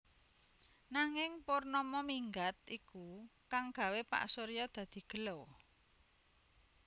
Nanging Purnama minggat iku kang gawé Pak Surya dadi gela